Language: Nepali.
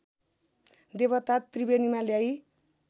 देवता त्रिवेणीमा ल्याई